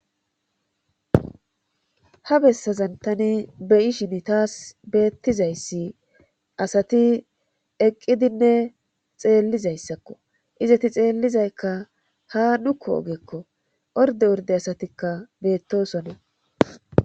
ha bessazan tani beyishin taas beettizayssi asati eqqidinne xeellizayssakko izati xeellizaykka ha nukku ogekko orde urde asatikka beettosonnee